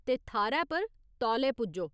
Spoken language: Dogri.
ते थाह्‌रै पर तौले पुज्जो।